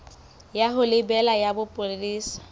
ya ho lebela ya bopolesa